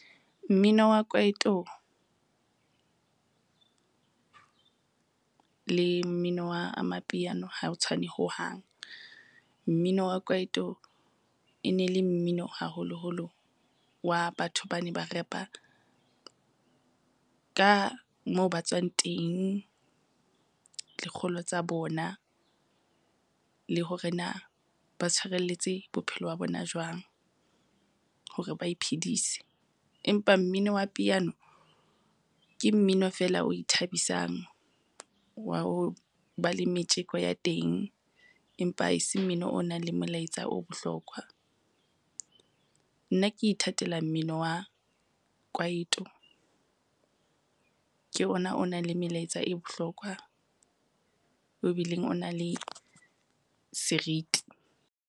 Mmino wa kwaito, le mmino wa amapiano ha o tshwane hohang. Mmino wa kwaito e ne le mmino haholoholo wa batho bane ba repa ka moo ba tswang teng, lekgolo tsa bona, le hore na ba tshwarelletse bophelo ba bona jwang hore ba iphedise. Empa mmino wa piano, ke mmino fela o ithabisang wa ho ba le metjeko ya teng, empa e se mmino o nang le molaetsa o bohlokwa. Nna ke ithatela mmino wa kwaito, ke ona o na le melaetsa e bohlokwa o bileng o na le seriti.